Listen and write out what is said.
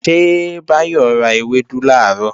Ṣé Báyọ̀ ra ewédú làárọ̀?